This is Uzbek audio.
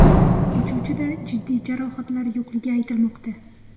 Uchuvchida jiddiy jarohatlar yo‘qligi aytilmoqda.